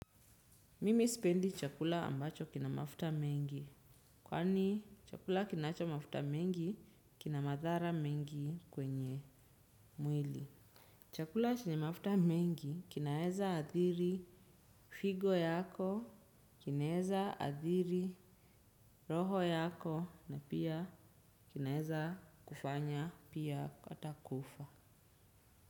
Mimi spendi chakula ambacho kina mafuta mengi. Kwani chakula kinacho mafuta mengi, kina madhara mengi kwenye mwili. Chakula chenye mafuta mengi, kinaeza adhiri figo yako, kinaeza adhiri roho yako, na pia kinaeza kufanya pia kataa kufa.